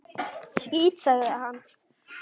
Skítt, sagði hann.